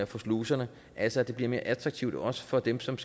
for sluserne altså at det bliver mere attraktivt også for dem som